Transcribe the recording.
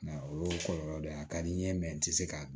Nka o y'o kɔlɔlɔ dɔ ye a ka di n ye n tɛ se k'a dun